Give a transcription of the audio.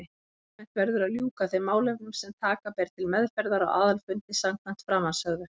Almennt verður að ljúka þeim málefnum sem taka ber til meðferðar á aðalfundi samkvæmt framansögðu.